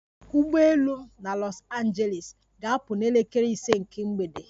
Ụgbọ elu m na Los Angeles ga-apụ na elekere ise nke mgbede